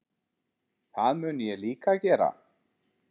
Það mun ég líka gera.